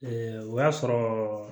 o y'a sɔrɔ